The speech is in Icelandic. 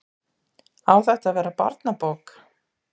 Á þetta að verða barnabók?